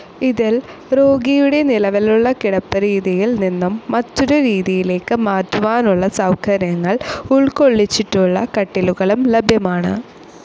ഇതിൽ രോഗിയുടെ നിലവിലുള്ള കിടപ്പ് രീതിയിൽ നിന്നും മറ്റൊരു രീതിയിലേക്ക് മാറ്റുവാനുള്ള സൌകര്യങ്ങൾ ഉൾക്കൊള്ളിച്ചിട്ടുള്ള കട്ടിലുകളും ലഭ്യമാണ്.